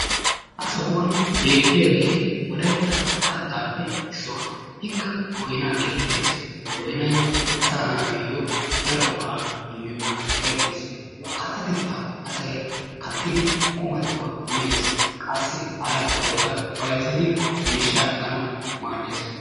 Ha sohuwan beettiyagee wolaytta kattaappe issuwa. Ikka boynaa geetettes. Boynayi asaa naatuyyo daro go"aa immiyogan erettes. Kattatettaeu asayi kattidi qumattuwa mes. Qassi Hara go"aykka bayzzidi miishshaa ekkanawu maaddes.